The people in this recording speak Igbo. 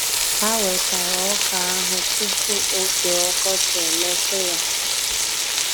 Ha wechara Ọka ahụ tupu oge Ọkọchi emetụ ya.